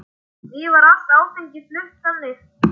Því var allt áfengi flutt þannig.